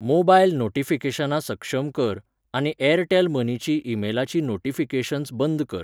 Mobile नोटिफिकेशनां सक्षम कर, आनी ऍरटॅल मनीचीं ईमेलाचीं नोटिफिकेशन्स बंद कर.